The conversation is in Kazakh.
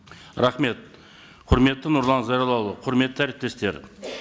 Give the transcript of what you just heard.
рахмет құрметті нұрлан зайроллаұлы құрметті әріптестер